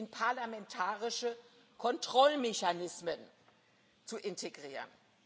und Co. in parlamentarische Kontrollmechanismen zu